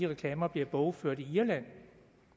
reklamer bliver bogført i irland